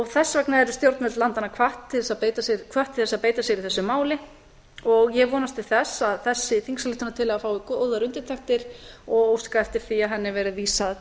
þess vegna eru stjórnvöld landanna hvött til þess að beita sér í þessu máli og ég vonast til þess að þessi þingsályktunartillaga fái góðar undirtektir og óska eftir því að henni verði vísað